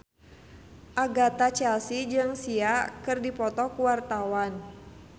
Agatha Chelsea jeung Sia keur dipoto ku wartawan